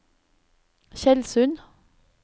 Tjeldsund